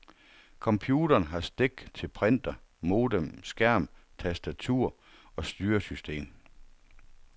Computeren har stik til printer, modem, skærm, tastatur og styresystem.